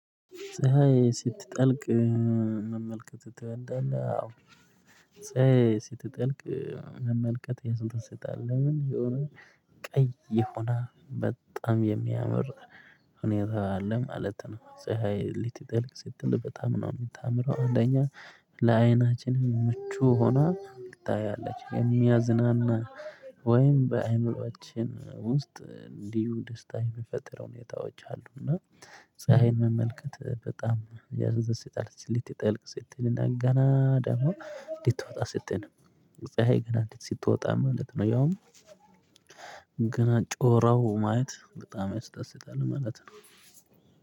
ፀሀይ ስትጠልቅ መመልከት ትወዳለህ? አዎ ፀሀይ ስትጠልቅ መመልከት ያስደስታል ለምን የሆነ ቀይ የሆነ በጣም የሚያመራ ሁኔታ አለ ማለት ነው ፀሀይ ሊትጥል ስትል በጣም ነው የምታምረው አንደኛ ለአይናችን ምቹ ሆና ትታያለች የሚያዝናና ወይም በአእምሮአችን ውስጥ እንዲሁ ደስታ የሚፈጥሩ ሁኔታዎች አሉ እና ፀሀይን መመልከት በጣም ያስደስታል ልትጠልቅ ስትል እና ገና ደግሞ ልትወጣ ስትል ፀሀይ ገና እንትን ስትወጣ ማለት ነው ያውም ገና ጮራው ማለት በጣም ያስደስታል ማለት ነው።